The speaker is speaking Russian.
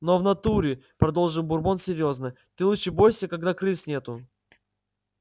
но в натуре продолжил бурбон серьёзно ты лучше бойся когда крыс нету